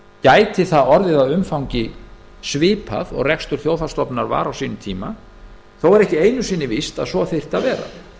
gæti það orðið að umfangi svipað og rekstur þjóðhagsstofnunar var á sínum tíma þó er það ekki einu sinni víst að svo þyrfti að vera